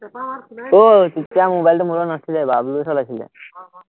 আহ তেতিয়া মোবাইলটো মোৰ লগত নাছিলে, বাবলুয়ে চলাইছিলে